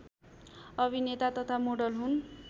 अभिनेता तथा मोडल हुन्